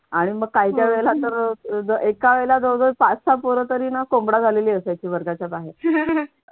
आणि मग काय काय वेळेला तर एका वेळेला जवळजवळ पाच सहा पोर तरी ना कोंबडा झालेली असायची वर्गाच्या बाहेर